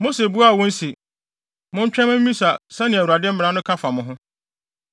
Mose buaa wɔn se, “Montwɛn mma mimmisa sɛnea Awurade mmara no ka fa mo ho.”